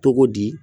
Togo di